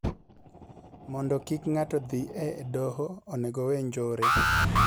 Mondo kik ng'ato dhi e doho onego owee njore